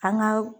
An ka